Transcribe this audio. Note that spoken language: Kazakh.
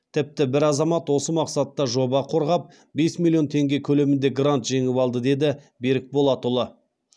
тіпті бір азамат осы мақсатта жоба қорғап бес миллион теңге көлемінде грант жеңіп алды деді берік болатұлы